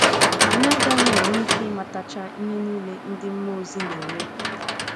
Anyị agaghị enwe ike ịmatacha ihe niile ndị mmụọ ozi na - eme taa.